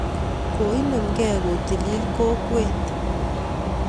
Koinemkei kotilil kokwet